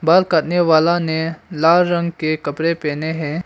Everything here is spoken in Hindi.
बाल काटने वाला ने लाल रंग के कपड़े पहने हैं।